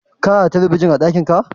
kana da talabijin a dakin ka?